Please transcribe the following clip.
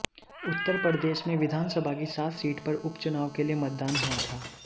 उत्तर प्रदेश में विधानसभा की सात सीट पर उप चुनाव के लिए मतदान हुआ था